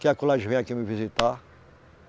Que é vem aqui me visitar.